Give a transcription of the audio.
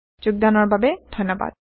অংশ গ্ৰহণৰ বাবে ধন্যবাদ